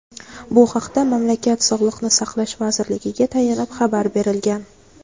Bu haqda mamlakat sog‘liqni saqlash vazirligiga tayanib xabar berilgan.